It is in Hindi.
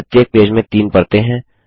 प्रत्येक पेज में तीन परतें हैं